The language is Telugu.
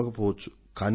ఇవ్వకపోవచ్చు